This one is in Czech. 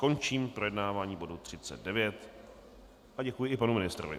Končím projednávání bodu 39 a děkuji i panu ministrovi.